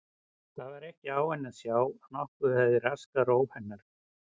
Það var ekki á henni að sjá að nokkuð hefði raskað ró hennar.